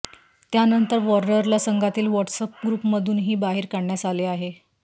त्यानंतर वॉर्नरला संघातील व्हॉट्सअप ग्रुपमधूनही बाहेर काढण्यात आले आहे